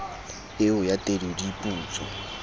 eo ya tedu di putswa